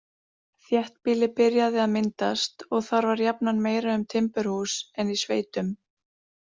Þéttbýli byrjaði að myndast, og þar var jafnan meira um timburhús en í sveitum.